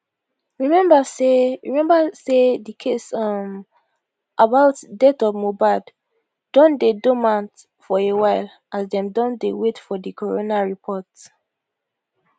remember say remember say di case um about death of mohbad don dey dormant for a while as dem dey wait for di coroner report